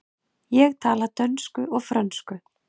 Ég tala dönsku og frönsku.